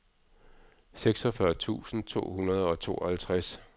seksogfyrre tusind to hundrede og tooghalvtreds